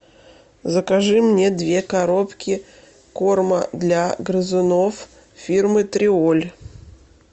закажи мне две коробки корма для грызунов фирмы триоль